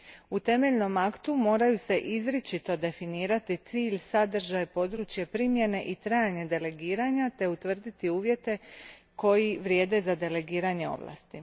U temeljnom aktu moraju se izričito definirati cilj, sadržaj, područje primjene i trajanje delegiranja te utvrditi uvjeti koji vrijede za delegiranje ovlasti.